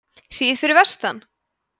hríð fyrir vestan